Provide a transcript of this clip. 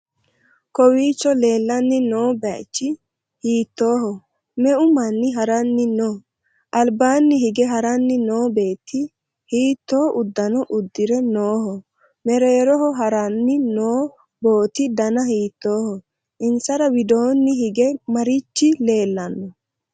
kowiicho leellanni no bayichi hiittoho? me'u manni ha'ranni no?albanni hige haranni noo beetti hiitto uddano uddire nooho? mereeroho ha'ranni no booti dana hiittoho? insara widoonni hige marichi leellanno?